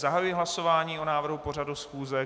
Zahajuji hlasování o návrhu pořadu schůze.